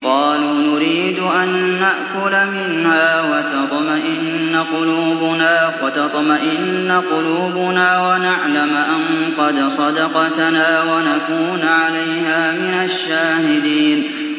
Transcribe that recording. قَالُوا نُرِيدُ أَن نَّأْكُلَ مِنْهَا وَتَطْمَئِنَّ قُلُوبُنَا وَنَعْلَمَ أَن قَدْ صَدَقْتَنَا وَنَكُونَ عَلَيْهَا مِنَ الشَّاهِدِينَ